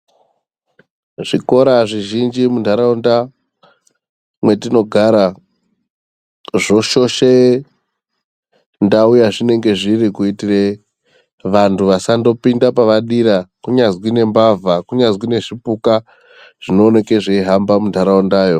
Zvikora zvizhinji mundaraunda mwetinogara zvoshoshe ndau yazvinenge zviri kuitire kuti vantu vasandopinda pavadira kunyazwi nembavha kunyazwi nezvipuka zvinooneke zveihamba mundaraunda yo.